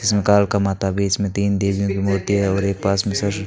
इसमें कालका माता भी इसमें तीन देवियों की मूर्ति है और एक पास में सर--